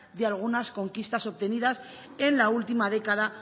de algunas conquistas obtenidas en la última década